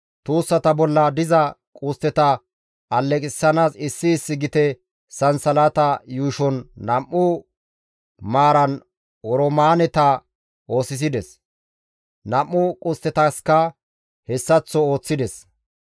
Tuussata bolla diza qustteta aleqissanaas issi issi gite sansalata yuushon nam7u maaran oroomaaneta oosisides; nam7u qusttetaska hessaththo ooththides.